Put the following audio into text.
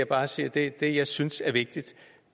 bare sige at det jeg synes er vigtigt